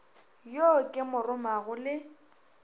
yo ke mo romago le